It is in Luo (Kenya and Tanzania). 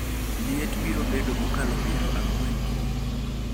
Liet biro bedo mokalo piero ang'wen kiny